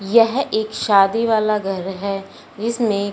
यह एक शादी वाला घर है जिसमें--